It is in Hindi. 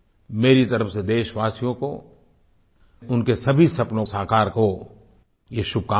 मेरी तरफ़ से देशवासियों को उनके सभी सपने साकार हों ये शुभकामनाएँ हैं